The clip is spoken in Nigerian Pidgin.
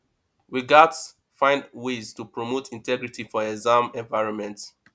we gats find ways to promote integrity for exam environment